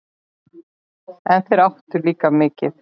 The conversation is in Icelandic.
En þeir áttu líka mikið.